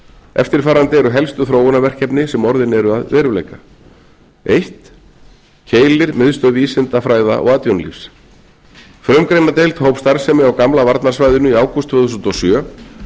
eftirfarandi eru helstu þróunarverkefni sem orðin eru að veruleika fyrstu keilir miðstöð vísinda fræða og atvinnulífs frumgreinadeild hóf starfsemi á gamla varnarsvæðinu í ágúst tvö þúsund og sjö